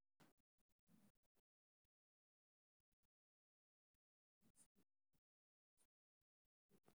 Waa maxay astamaha iyo calaamadaha Multiple epiphyseal dysplasia kowaad?